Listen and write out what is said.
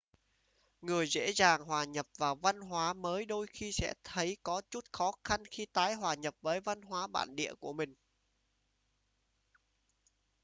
người dễ dàng hòa nhập vào văn hóa mới đôi khi sẽ thấy có chút khó khăn khi tái hòa nhập với văn hóa bản địa của mình